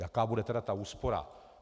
Jaká bude tedy ta úspora?